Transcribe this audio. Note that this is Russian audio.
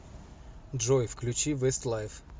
джой включи вестлайф